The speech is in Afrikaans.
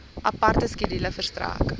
aparte skedule verstrek